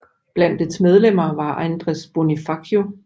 Blandt dets medlemmer var Andres Bonifacio